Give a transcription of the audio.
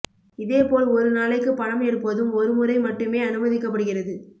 இதேபோல் ஒரு நாளைக்கு பணம் எடுப்பதும் ஒரு முறை மட்டுமே அனுமதிக்கப்படுகிறது